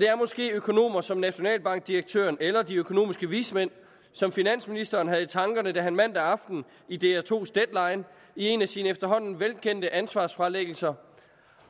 det er måske økonomer som nationalbankdirektøren eller de økonomiske vismænd som finansministeren havde i tankerne da han mandag aften i dr 2’s deadline i en af sine efterhånden velkendte ansvarsfralæggelser